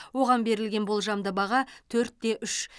оған берілген болжамды баға төрт те үш